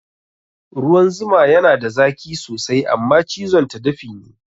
Ruwan zuma yana da zaki sosai Amma cizon ta dafi ne